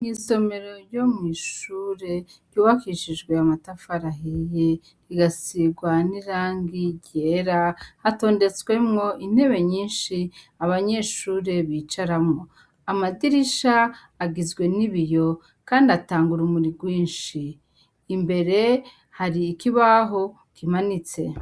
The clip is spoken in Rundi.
Isomero ryo mwishure ryubakishijwe amatafari ahiye rikasigwa nirangi ryera hatondetswemo intebe nyinshi abanyeshure bicaramwo amadirisha agizwe nibiyo kandi atanga urumuri rwinshi imbere hari ikibaho kimanitse.